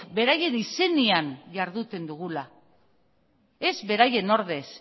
beraien izenean jarduten dugula ez beraien ordez